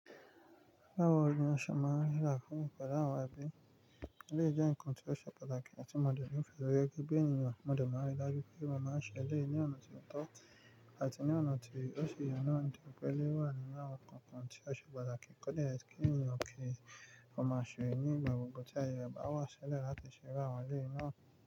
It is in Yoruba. Bawo ni a ṣe máa n làákò pẹlú áwọn ẹbí? Le jẹ́ ǹkan tó ṣe pàtàkì láti mọ̀dọpọ̀ fẹ́rẹ́ gẹ́gẹ́ bí ènìyàn, mọ̀dọ̀ mọ́ rí i dájú pé ìwà máa ń ṣẹlẹ̀ ní ọ̀nà tí ó tọ́ àti ní ọ̀nà tí ó ṣe yàn án, di pẹ̀lú wà nínú àwọn kánkan tí a ṣe pàtàkì kódà ẹni tí ènìyàn kì í fún un máa ṣe ní ìgbà gbogbo tí ayẹyẹ bá wà ṣẹlẹ̀ láti ṣe bá àwọn eelé náà.